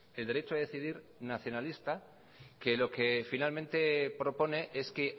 el derecho a decidir nacionalista que lo que finalmente propone es que